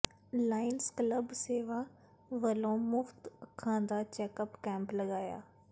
Lions Club ਸੇਵਕ ਵਲੋਂ ਮੁਫ਼ਤ ਅੱਖਾਂ ਦਾ ਚੈੱਕਅੱਪ ਕੈਂਪ ਲਗਾਇਆ